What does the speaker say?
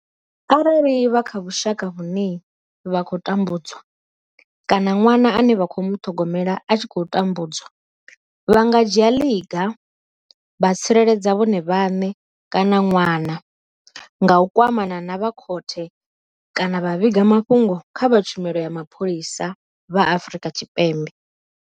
Arali vha kha vhushaka vhune vha tambudzwa kana ṅwana ane vha khou muṱhogomela a tshi khou tambudzwa, vha nga dzhia ḽiga vha tsireledza vhone vhaṋe kana ṅwana nga u kwamana na vha khothe kana vha vhiga mafhungo kha vha tshumelo ya mapholisa vha Afrika Tshipembe.